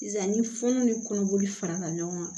Sisan ni fununu ni kɔnɔboli farala ɲɔgɔn kan